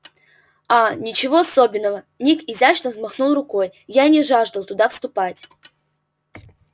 а ничего особенного ник изящно взмахнул рукой я не жаждал туда вступать